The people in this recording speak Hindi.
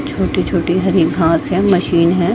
छोटे - छोटे हरे घास है मशीन है।